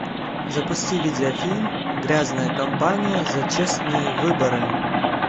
запусти видеофильм грязная компания за честные выборы